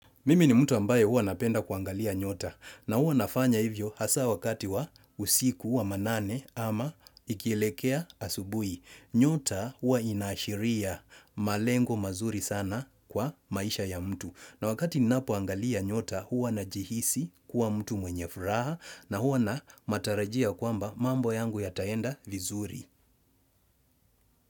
Mimi ni mtu ambaye huwa napenda kuangalia nyota na huwa nafanya hivyo hasa wakati wa usiku wa manane ama ikielekea asubuhi. Nyota huwa inashiria malengo mazuri sana kwa maisha ya mtu. Na wakati ninapo angalia nyota huwa najihisi kuwa mtu mwenye furaha na huwa nina matarajio ya kwamba mambo yangu yataenda vizuri.